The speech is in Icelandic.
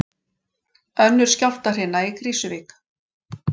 Önnur skjálftahrina í Krýsuvík